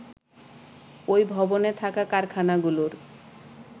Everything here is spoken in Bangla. ওই ভবনে থাকা কারখানাগুলোর